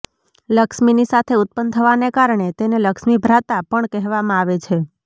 લક્ષ્મીની સાથે ઉત્પન્ન થવાને કારણે તેને લક્ષ્મી ભ્રાતા પણ કહેવામાં આવે છે